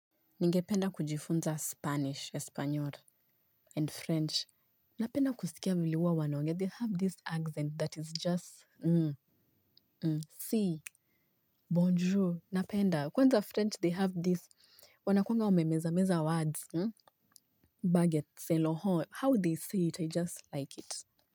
Ningependa kujifunza Spanish, Epanyol, and French. Napenda kusikia vile huwa wanaongea. They have this accent that is just, um, um, si, bonjour, napenda. Kwanza French, they have this, wanakwanga wamemeza words. Um, baget, seloho, how they say it, I just like it.